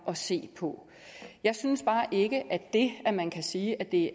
at se på jeg synes bare ikke at det at man kan sige at det